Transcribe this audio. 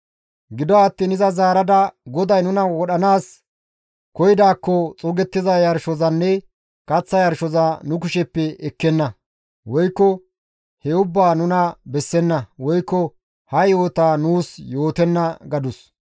Gido attiin iza zaarada, «GODAY nuna wodhanaas koyidaakko xuugettiza yarshozanne kaththa yarshoza nu kusheppe ekkenna; woykko he ubbaa nuna bessenna; woykko ha yo7ota nuus yootenna» gadus.